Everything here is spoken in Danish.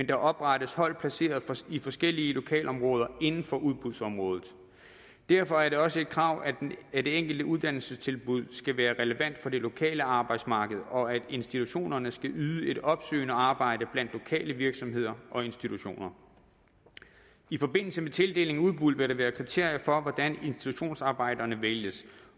der oprettes hold placeret i forskellige lokalområder inden for udbudsområdet derfor er det også et krav at det enkelte uddannelsestilbud skal være relevant for det lokale arbejdsmarked og at institutionerne skal yde et opsøgende arbejde blandt lokale virksomheder og institutioner i forbindelse med tildeling af udbud vil der være kriterier for hvordan institutionsarbejderne vælges